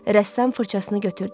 Rəssam fırçasını götürdü.